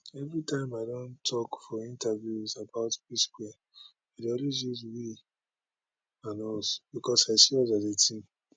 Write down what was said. every time i don tok for interviews about psquare i dey always use we and us becos i see us as a team